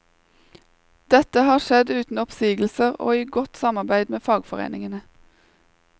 Dette har skjedd uten oppsigelser og i godt samarbeid med fagforeningene.